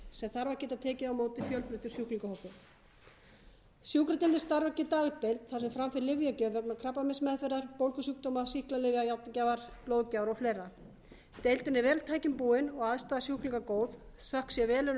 sem þarf að geta tekið á móti fjölbreyttum sjúklingahópi sjúkradeildin starfrækir dagdeild þar sem fram fer lyfjagjöf vegna krabbameinsmeðferðar bólgusjúkdóma sýklalyfja járngjafar blóðgjafar og fleiri deildin er vel tækjum búin og aðstaða sjúklinga góð þökk sé velunnurum